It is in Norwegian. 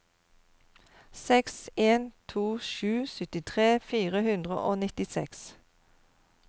seks en to sju syttitre fire hundre og nittiseks